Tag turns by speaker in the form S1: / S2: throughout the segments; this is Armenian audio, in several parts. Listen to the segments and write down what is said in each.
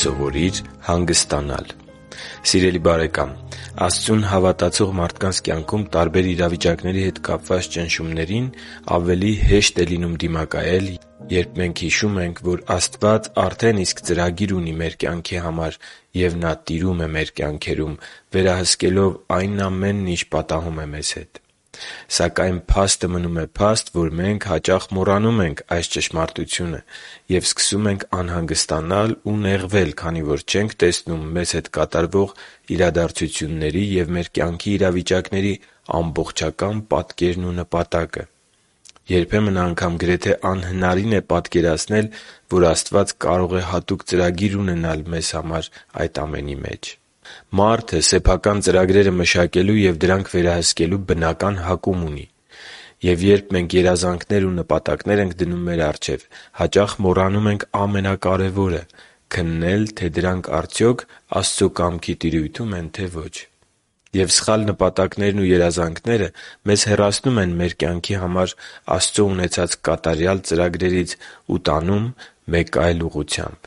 S1: Սովորի՛ր հանգստանալ Սիրելի՛ բարեկամ, Աստծուն հավատացող մարդկանց կյանքում տարբեր իրավիճակների հետ կապված ճնշումներին ավելի հեշտ է լինում դիմակայել, երբ մենք հիշում ենք, որ Աստված արդեն ծրագիր ունի իմ կյանքի համար, և Նա տիրում է իմ կյանքում՝ վերահսկելով այն ամենն, ինչ պատահում է ինձ հետ։ Սակայն փաստը մնում է փաստ, որ մենք հաճախ մոռանում ենք այս ճշմարտությունը և սկսում անհանգստանալ ու նեղվել, քանի որ չենք տեսնում մեզ հետ կատարվող իրադարձությունների և մեր կյանքի իրավիճակների ամբողջական պատկերն ու նպատակը։ Երբեմն անգամ գրեթե անհնարին է պատկերացնել, որ Աստված կարող է հատուկ ծրագիր ունենալ այդ ամենի մեջ։ Մարդը սեփական ծրագրերը մշակելու և դրանք վերահսկելու բնական հակում ունի։ Եվ երբ մենք երազանքներ ու նպատակներ ենք դնում մեր առջև, հաճախ մոռանում ենք ամենակարևորը՝ քննել, թե արդյոք դրանք Աստծո կամքի տիրույթո՞ւմ են, թե՞ ոչ: Եվ սխալ նպատակներն ու երազանքները մեզ հեռացնում են մեր կյանքի համար Աստծո ունեցած կատարյալ ծրագրերից ու տանում մեկ այլ ուղղությամբ: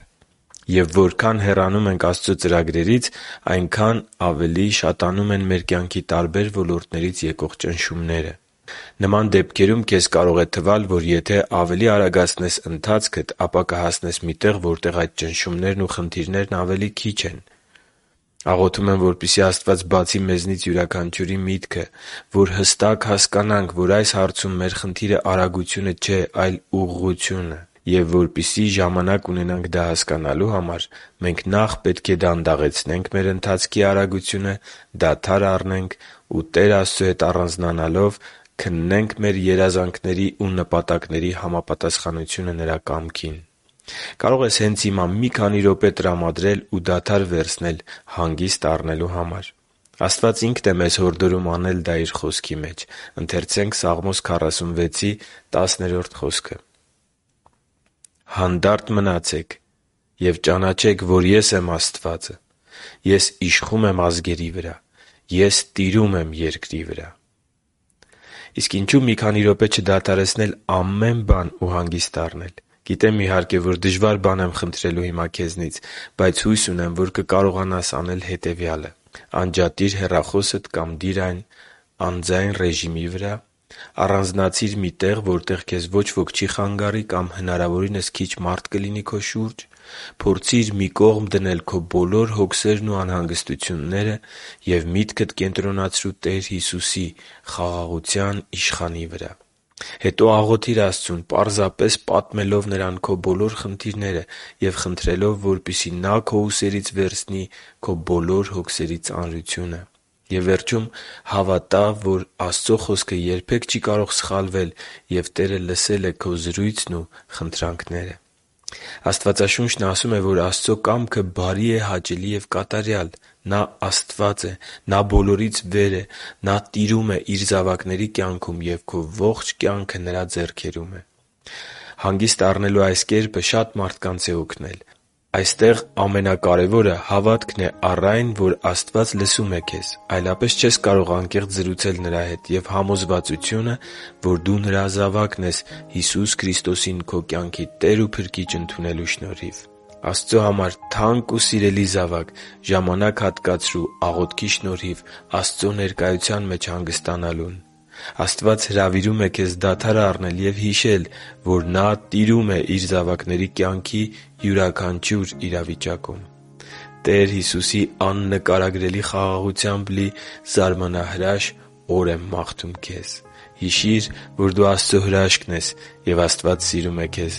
S1: Եվ որքան հեռանում ենք Աստծո ծրագրից, այնքան ավելի շատանում են մեր կյանքի տարբեր ոլորտներից եկող ճնշումները։ Նման դեպքերում քեզ կարող է թվալ, թե եթե ավելի արագացնես ընթացքդ, ապա կհասնես մի տեղ, որտեղ այդ ճնշումներն ու խնդիրներն ավելի քիչ են։ Աղոթում եմ, որպեսզի Աստված բացի մեզնից յուրաքանչյուրի միտքը, որպեսզի հստակ հասկանանք, որ այս հարցում մեր խնդիրը արագությունը չէ, այլ ուղղությունը։ Եվ որպեսզի ժամանակ ունենանք դա հասկանալու համար, մենք նախ պետք է դանդաղեցնենք մեր ընթացքի արագությունը, դադար առնենք ու, Տեր Աստծու հետ առանձնանալով, քննենք մեր երազանքների ու նպատակների համապատասխանությունը Նրա կամքին։ Կարո՞ղ ես հենց հիմա մի քանի րոպե տրամադրել ու դադար վերցնել հանգիստ առնելու համար: Աստված Ինքն է մեզ հորդորում անել դա Իր Խոսքի մեջ. «Հանդա՛րտ մնացեք և ճանաչե՛ք, որ Ես եմ Աստվածը. Ես եմ իշխում ազգերի վրա. Ես եմ տիրում երկրի վրա» (Սաղմոս 46․10): Ինչո՞ւ մի քանի րոպե չդադարեցնել ամեն բան և հանգիստ առնել: Գիտեմ, իհարկե, որ դժվար բան եմ խնդրելու հիմա քեզնից։ Բայց հույս ունեմ, որ կկարողանաս անել հետևյալը․ Անջատի՛ր հեռախոսդ կամ դի՛ր այն անձայն ռեժիմի վրա։ Առանձնացի՛ր մի տեղ, որտեղ քեզ ոչ ոք չի խանգարի կամ հնարավորինս քիչ մարդ կլինի քո շուրջ։ Փորձի՛ր մի կողմ դնել քո բոլոր հոգսերն ու անհանգստությունները և միտքդ կենտրոնացրո՛ւ Տեր Հիսուսի՝ Խաղաղության Իշխանի վրա: Հետո աղոթի՛ր Աստծուն՝ պարզապես պատմելով Նրան քո բոլոր խնդիրները և խնդրելով, որպեսզի Նա քո ուսերից վերցնի քո բոլոր հոգսերի ծանրությունը։ Եվ վերջում հավատա՛, որ Աստծո Խոսքը երբեք չի կարող սխալվել։ Եվ Տերը լսել է քո զրույցն ու խնդրանքները։ Աստվածաշունչն ասում է, որ Աստծո կամքը բարի է, հաճելի ու կատարյալ։ Նա Աստված է։ Նա բոլորից վեր է։ Նա տիրում է Իր զավակների կյանքում, և քո ողջ կյանքը Նրա ձեռքերում է… Հագիստ առնելու այս կերպը շատ մարդկանց է օգնել։ Այստեղ ամենակարևորը հավատքն է առ այն, որ Աստված լսում է քեզ, այլապես չես կարող անկեղծ զրուցել Նրա հետ, և համոզվածությունը, որ դու Նրա զավակն ես Հիսուս Քրիստոսին քո կյանքի Տեր ու Փրկիչ ընդունելու շնորհիվ։ Աստծո համար թանկ ու սիրելի՛ զավակ, ժամանակ հատկացրո՛ւ աղոթքի շնորհիվ Աստծո ներկայության մեջ հանգստանալուն: Աստված հրավիրում է քեզ դադար առնել և հիշել, որ Նա տիրում է Իր զավակների կյանքի յուրաքանչյուր իրավիճակում: Տեր Հիսուսի աննկարագրելի խաղաղությամբ լի զարմանահրաշ օր եմ մաղթում քեզ։ Հիշի՛ր, որ դու Աստծո հրաշքն ես, և Աստված սիրում է քեզ։